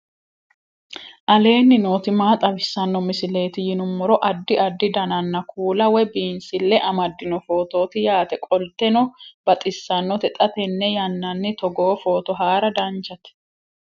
aleenni nooti maa xawisanno misileeti yinummoro addi addi dananna kuula woy biinsille amaddino footooti yaate qoltenno baxissannote xa tenne yannanni togoo footo haara danvchate